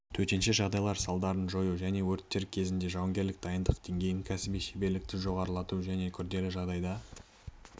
төтенше жағдайлар салдарын жою және өрттер кезінде жауынгерлік дайындық деңгейін кәсіби шеберлікті жоғарылату және күрделі жағдайда